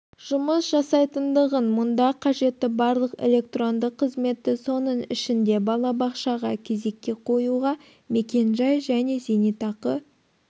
жұмыс жасайтындығын мұнда қажетті барлық электронды қызметті соның ішінде балабақшаға кезекке қоюға мекенжай және зейнетақы